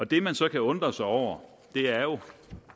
det man så kan undre sig over er jo